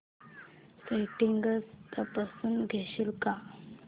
settings तपासून घेशील का